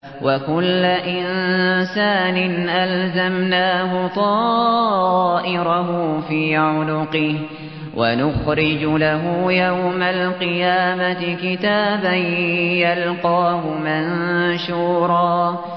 وَكُلَّ إِنسَانٍ أَلْزَمْنَاهُ طَائِرَهُ فِي عُنُقِهِ ۖ وَنُخْرِجُ لَهُ يَوْمَ الْقِيَامَةِ كِتَابًا يَلْقَاهُ مَنشُورًا